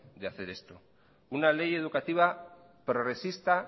de hacer esto una ley educativa progresista